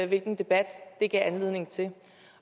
hvilken debat det gav anledning til